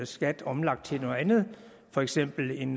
skat omlagt til noget andet for eksempel en